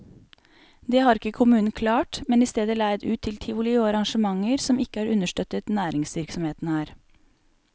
Det har ikke kommunen klart, men i stedet leid ut til tivoli og arrangementer som ikke har understøttet næringsvirksomheten her.